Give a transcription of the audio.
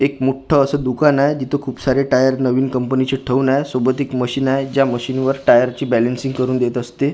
एक मोठं असं दुकान आहे जिथं खूप सारे टायर नवीन कंपनी चे ठेवून आहे सोबत एक मशीन आहे ज्या मशीन वर टायर ची बॅलेन्सिंग करून देत असते आणि--